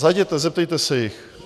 Zajděte, zeptejte se jich.